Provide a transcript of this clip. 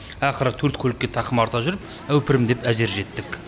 ақыры төрт көлікке тақым арта жүріп әупірімдеп әзер жеттік